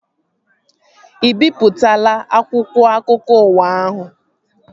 Ị bipụtaala akwụkwọ akụkọ ụwa ahụ?